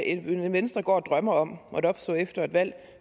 venstre går og drømmer om måtte opstå efter et valg